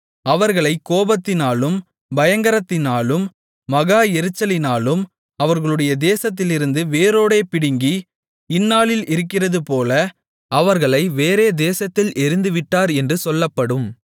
அவர்களைக் கோபத்தினாலும் பயங்கரத்தினாலும் மகா எரிச்சலினாலும் அவர்களுடைய தேசத்திலிருந்து வேரோடே பிடுங்கி இந்நாளில் இருக்கிறதுபோல அவர்களை வேறே தேசத்தில் எறிந்துவிட்டார் என்று சொல்லப்படும்